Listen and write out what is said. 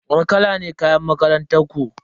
Wani kala ne kayan makarantar ku?